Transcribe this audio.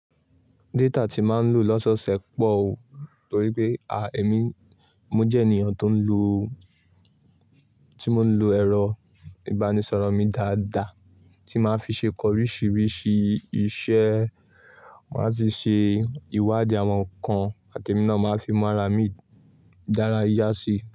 Data ti ma ń lò lọ́sọ́ṣẹ pọ̀ o, torí pé a, èmi, mo jẹ́ ènìyàn tó ń lo, tí mo ń lo ẹ̀rọ ìbánisọ̀rọ̀ mi dáadáa tí màá fi ṣe kọ̀ oríṣiríṣi iṣẹ́, màá sì ṣe ìwádìí àwọn nǹkan àti mi náà máa fi mu ara mi dára yá si.